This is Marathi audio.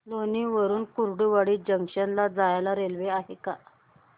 लोणी वरून कुर्डुवाडी जंक्शन ला जायला रेल्वे आहे का